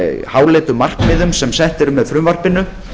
háleitu markmiðum sem sett eru með frumvarpinu